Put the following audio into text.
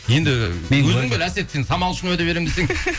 енді әсет сен самал үшін уәде беремін десең